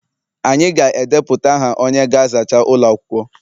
Anyị ga-edepụta aha onye ga-azacha ụlọ akwụkwọ